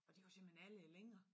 Og det var simpelthen alle længer?